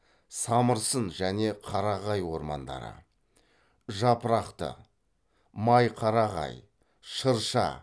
самырсын және қарағай ормандары жапырақты майқарағай шырша